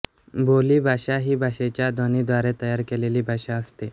बोली भाषा ही भाषेच्या ध्वनीद्वारे तयार केलेली भाषा असते